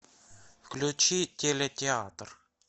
включи телетеатр